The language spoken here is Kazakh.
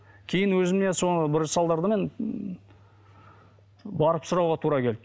кейін өзінен сол бір салдарды мен барып сұрауға тура келді